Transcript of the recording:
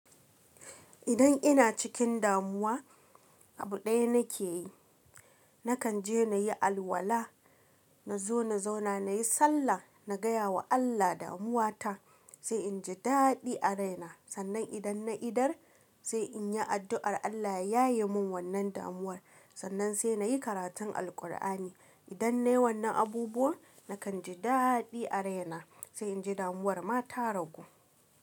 Idan ina cikin damuwa, abu ɗaya nake yi, nakan je na yi alwala, na zo na zauna, na yi sallah, na gaya wa Allah damuwa ta, sai in ji daɗi a raina. Sannan idan na iɗar, sai in yi addu'ar Allah ya yaye min wannan damuwar. Sannan sai na yi karatun Alqur'ani. Idan nayi wannan abubuwa, nakan ji daɗi a raina, sai in ji damuwar ma ta ragu.